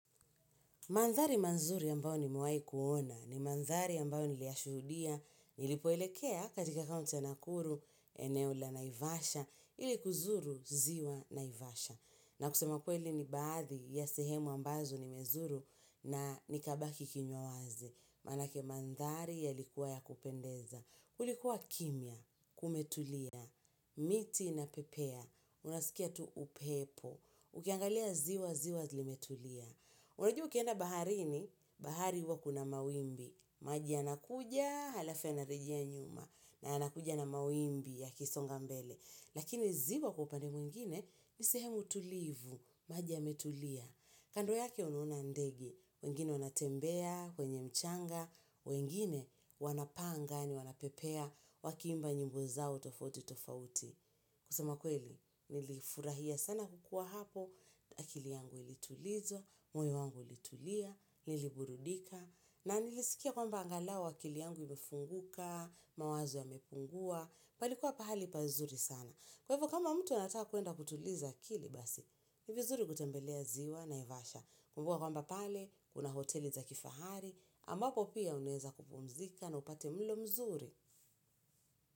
Mandhari mazuri ambayo nimewahi kuona ni mandhari ambayo niliyashuhudia nilipoelekea katika kaunti ya Nakuru eneo la Naivasha ili kuzuru ziwa Naivasha. Na kusema kweli ni baadhi ya sehemu ambazo nimezuru na nikabaki kinywa wazi. Maanake mandhari yalikuwa ya kupendeza. Kulikuwa kimya, kumetulia, miti inapepea, unasikia tu upepo. Ukiangalia ziwa, ziwa limetulia. Unajua ukienda baharini huwa kuna mawimbi. Maji yanakuja alafu yanarejea nyuma na yanakuja na mawimbi yakisonga mbele. Lakini ziwa kwa upande mwingine ni sehemu tulivu. Maji yametulia, kando yake unuona ndege wengine wanatembea kwenye mchanga wengine wanapaa angani, wanapepea wakiimba nyimbo zao tofauti tofauti kusema kweli nilifurahia sana kukuwa hapo, akili yangu ilitulizwa, moyo wangu ulitulia, niliburudika na niliskia kwamba angalau akili yangu imefunguka, mawazo yamepungua, palikuwa pahali pazuri sana. Kwa hivyo kama mtu anataka kuenda kutuliza akili basi, ni vizuri kutembelea ziwa Naivasha. Kumbuka kwamba pale kuna hoteli za kifahari ambapo pia unaweza kupumzika na upate mlo mzuri.